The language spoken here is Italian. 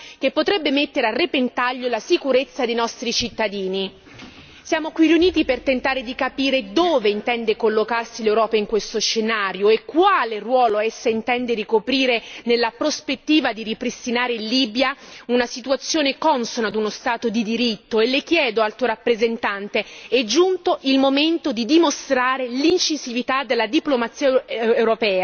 Siamo qui riuniti per tentare di capire dove intende collocarsi l'Europa in questo scenario e quale ruolo essa intende ricoprire nella prospettiva di ripristinare in Libia una situazione consona a uno Stato di diritto e le chiedo, Alto rappresentante, è giunto il momento di dimostrare l'incisività della diplomazia europea vogliamo sentire da lei misure concrete e non un dialogo che rimane fine a se stesso di quest'Aula.